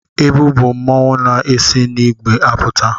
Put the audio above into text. Ebu bụ mmanwụ na-esi n'igbe apụta.